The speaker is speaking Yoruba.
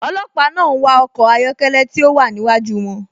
Olòpà náà n wà ọkọ̀ ayọ̀kẹlẹ̀ tí o wà níwájú wọn.